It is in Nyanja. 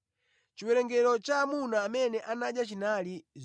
Chiwerengero cha amuna amene anadya chinali 5,000.